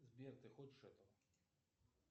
сбер ты хочешь этого